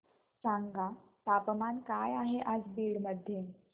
सांगा तापमान काय आहे आज बीड मध्ये